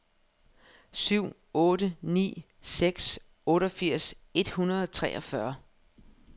syv otte ni seks otteogfirs et hundrede og treogfyrre